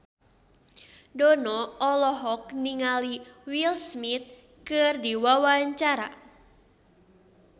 Dono olohok ningali Will Smith keur diwawancara